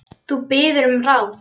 Þú biður um ráð.